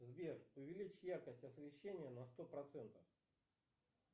сбер увеличь яркость освещения на сто процентов